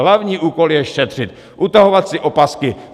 Hlavní úkol je šetřit, utahovat si opasky.